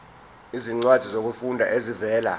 izincwadi zokufunda ezivela